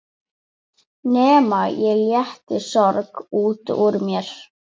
Nema ég léti soga út úr mér.